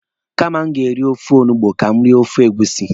Kama m ga-eri ofe olugbu, ka m rie ofe egusi.